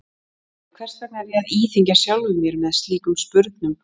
Æ, hvers vegna er ég að íþyngja sjálfum mér með slíkum spurnum?